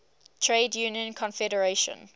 trade union confederation